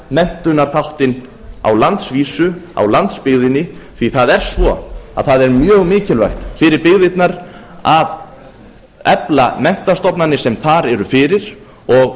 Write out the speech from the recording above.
menntunarþáttinn á landsvísu á landsbyggðinni því að það er svo að það er mjög mikilvægt fyrir byggðirnar að efla menntastofnanir sem þar eru fyrir og